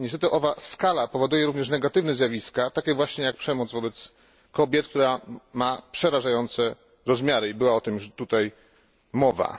Niestety owa skala powoduje również negatywne zjawiska, takie właśnie jak przemoc wobec kobiet, która ma przerażające rozmiary, i była o tym już tutaj mowa.